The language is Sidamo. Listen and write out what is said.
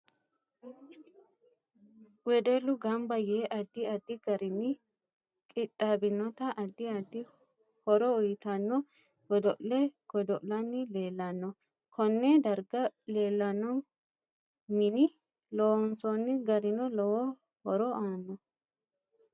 Wedellu ganba yee addi addi garinni qixaabinota addi addi horo uyiitanno godo'le godo'lani leelanno konne darga leelanno mine loonsooni garino lowo horo aano